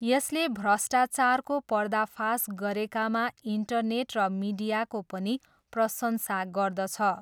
यसले भ्रष्टाचारको पर्दाफास गरेकामा इन्टरनेट र मिडियाको पनि प्रशंसा गर्दछ।